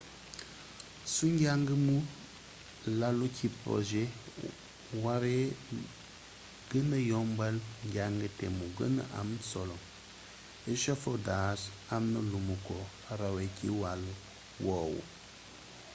su njàng mu lalu ci projet waree gëna yombal njàng te mu gëna am solo echafodage amna lumu ko rawee ci wàll woowu